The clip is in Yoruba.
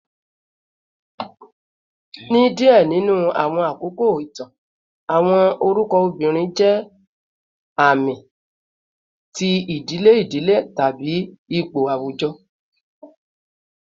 ni diẹ ninu awọn akoko itan, awọn orukọ obirin jẹ aami ti idile idile tabi ipo awujọ